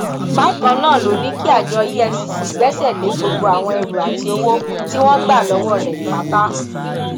bákan náà ló ní kí àjọ efcc gbẹsẹ lé gbogbo àwọn ẹrú àti owó tí wọn gbà lọwọ rẹ pátá